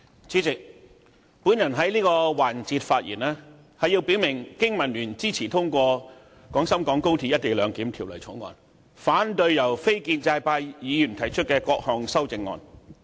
主席，我在這個環節發言，以表明經民聯支持通過《廣深港高鐵條例草案》，反對由非建制派議員提出的各項修正案。